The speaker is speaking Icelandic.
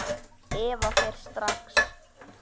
Eva fer strax.